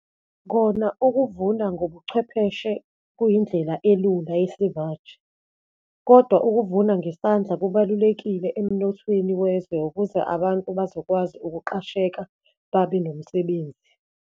Kona ukuvuna ngobuchwepheshe kuyindlela elula yesimanje, kodwa ukuvuna ngesandla kubalulekile emnothweni wezwe, ukuze abantu bazokwazi ukuqasheka, babe nomsebenzi.